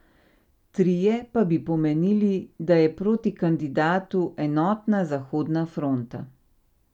Trije pa bi pomenili, da je proti kandidatu enotna zahodna fronta.